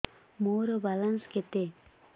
ମୋର ବାଲାନ୍ସ କେତେ